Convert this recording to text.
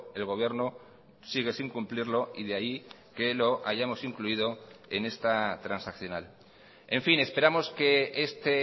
el gobierno sigue sin cumplirlo y de ahí que lo hayamos incluido en esta transaccional en fin esperamos que este